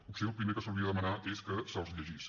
potser el primer que s’hauria de demanar és que se’ls llegís